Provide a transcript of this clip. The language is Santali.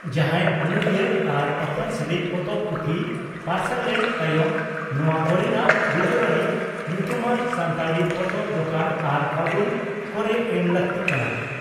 ᱡᱟᱦᱟᱸᱭ ᱚᱱᱚᱞᱤᱭᱟᱹ ᱟᱨ ᱯᱟᱯᱟᱨᱥᱟᱞᱤᱡ ᱯᱚᱛᱚᱵ/ᱯᱩᱛᱷᱤ ᱯᱟᱨᱥᱟᱞᱮᱱ ᱛᱟᱭᱚᱢ ᱱᱚᱣᱟ ᱠᱚᱨᱮᱱᱟᱜ ᱵᱤᱵᱚᱨᱚᱬᱤ ᱧᱩᱛᱩᱢᱟᱱ ᱥᱟᱱᱛᱟᱲᱤ ᱯᱚᱛᱚᱵ ᱫᱚᱠᱟᱱ ᱟᱨ 'ᱯᱷᱟᱹᱜᱩᱱ' ᱠᱚᱨᱮ ᱮᱢ ᱞᱟᱹᱠᱛᱤᱜ ᱠᱟᱱᱟ ᱾